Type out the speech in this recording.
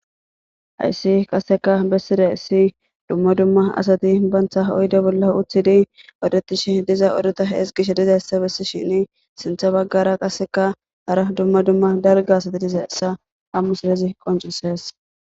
hayssi qaseka besside issi dumma dumma asati bantha oyde bolla uthidi odetishe diza oduta hes gishe dizayssa bessi shini sintha baggara qaseka hara dumma dumma dalga asati diza essa ammu silezi qoncisees